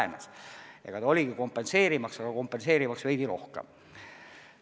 See oligi mõeldud selle kompenseerimiseks, aga kompenseerimiseks veidi rohkem.